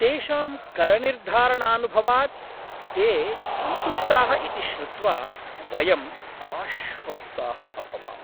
तेषां करनिर्धारणानुभवात् ते सन्तुष्टाः इति श्रुत्वा वयं आश्वस्ताः अभवाम।